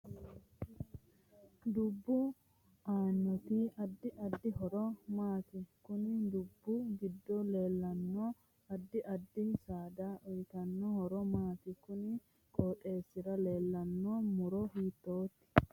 Dubbu aanoti addi addi horo maati konni dubbi giddo leeltanno addi addi saada uyiitano horo maati konni qooxeesira leeltano muro hiitoote